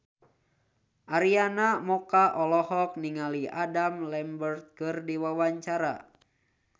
Arina Mocca olohok ningali Adam Lambert keur diwawancara